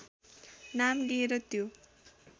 नाम लिएर त्यो